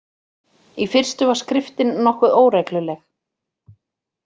Í fyrstu var skriftin nokkuð óregluleg.